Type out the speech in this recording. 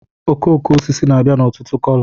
okooko osisi na-abịa n'ọtụtụ kolo